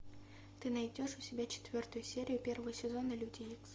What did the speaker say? ты найдешь у себя четвертую серию первого сезона люди икс